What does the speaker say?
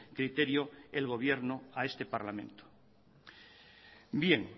criterio el gobierno a este parlamento